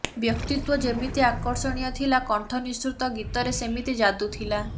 ବ୍ୟକ୍ତିତ୍ୱ ଯେମିତି ଆକର୍ଷଣୀୟ ଥିଲା କଣ୍ଠ ନିଃସୃତ ଗୀତରେ ସେମିତି ଯାଦୁ ଥିଲା